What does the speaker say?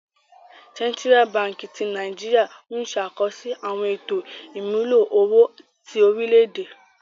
Sentira Bánkì ti Nàìjíríà n ṣẹ̀ àkọsí àwọn ètò imúlò owó ti orílẹ̀-èdè.